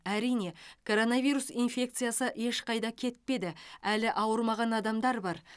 әрине коронавирус инфекциясы ешқайда кетпеді әлі ауырмаған адамдар бар